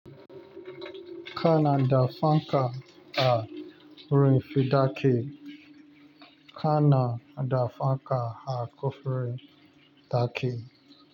Kana da fanka a rufin dake. Kana da fanka a kofar dake.